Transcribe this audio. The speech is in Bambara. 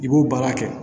I b'o baara kɛ